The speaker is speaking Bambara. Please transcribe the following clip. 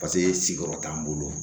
Paseke siyɔrɔ t'an bolo